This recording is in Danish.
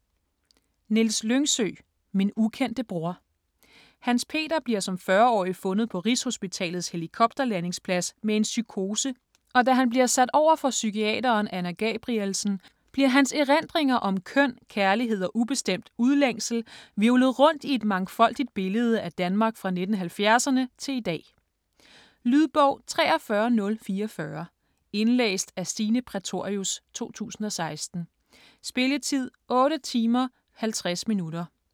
Lyngsø, Niels: Min ukendte bror Hans-Peter bliver som 40-årig fundet på rigshospitalets helikopterlandingsplads med en psykose, og da han bliver sat over for psykiateren Anna Gabrielsen, bliver hans erindringer om køn, kærlighed og ubestemt udlængsel hvirvlet rundt i et mangfoldigt billede af Danmark fra 1970'erne til i dag. Lydbog 43044 Indlæst af Stine Prætorius, 2016. Spilletid: 8 timer, 50 minutter.